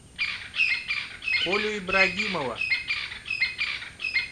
колю ибрагимова